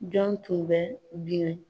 Jɔn tun bɛ binɛ